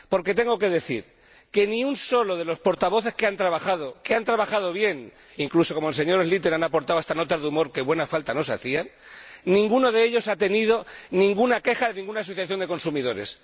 Porque tengo que decir que ni uno solo de los ponentes alternativos que han trabajado, que han trabajado bien que, incluso como el señor Schlyter, han aportado hasta notas de humor, que buena falta nos hacían ninguno de ellos ha tenido ninguna queja de ninguna asociación de consumidores.